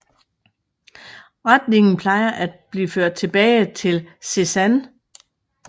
Retningen plejer at blive ført tilbage til Cézanne